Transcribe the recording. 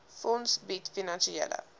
fonds bied finansiële